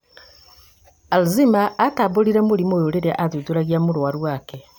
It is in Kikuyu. alzheimer atambũrire mũrimũ ũyũ rĩrĩa athuthuragia mũrwaru wake